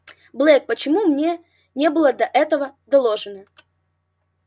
блэк почему мне не было до этого доложено